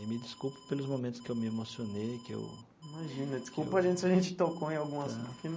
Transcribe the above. E me desculpe pelos momentos que eu me emocionei, que eu... Imagina, desculpa a gente se a gente tocou em algum assunto que não...